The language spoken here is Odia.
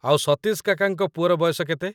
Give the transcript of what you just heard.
ଆଉ, ସତୀଶ କାକାଙ୍କ ପୁଅର ବୟସ କେତେ?